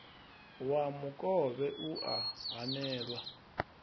wa mukovhe u a hanelwa